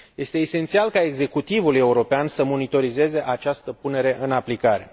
Este esențial ca executivul european să monitorizeze această punere în aplicare.